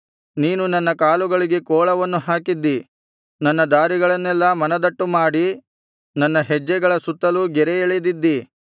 ನೀನು ನನ್ನ ಕಾಲುಗಳಿಗೆ ಕೋಳವನ್ನು ಹಾಕಿದ್ದಿ ನನ್ನ ದಾರಿಗಳನ್ನೆಲ್ಲಾ ಮನದಟ್ಟುಮಾಡಿ ನನ್ನ ಹೆಜ್ಜೆಗಳ ಸುತ್ತಲೂ ಗೆರೆಯೆಳೆದಿದ್ದಿ